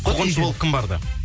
қуғыншы болып кім барды